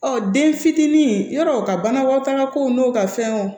Ɔ den fitinin yarɔɔ ka banabaatɔ ka kow n'u ka fɛn wo